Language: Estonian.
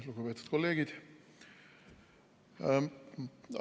Lugupeetud kolleegid!